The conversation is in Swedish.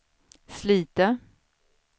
Slite